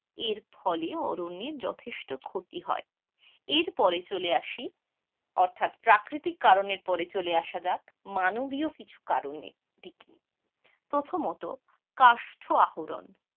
এরফলে অরণ্যের যথেষ্ঠ ক্ষতি হয়, এরপরে চলে আসি, অর্থাৎ প্রাকৃতিক কারণের পরে চলে আসা যাক মানবীয় কিছু কারণের দিকে, প্রথমত কাষ্ঠ আহরণ,